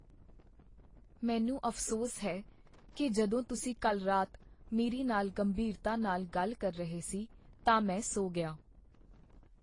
ਮੈਨੂੰ ਅਫ਼ਸੋਸ ਹੈ ਕੀ ਜਦੋਂ ਤੁਸੀਂ ਕੱਲ੍ਹ ਰਾਤ ਮੇਰੇ ਨਾਲ ਗੰਭੀਰਤਾ ਨਾਲ ਗੱਲ ਕਰ ਰਹੇ ਸੀ ਤਾਂ ਮੈਂ ਸੌਂ ਗਿਆ।